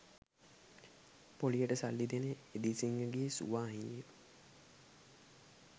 පොලියට සල්ලි දෙන එදිරිසිංහගේ සුවාහිනිය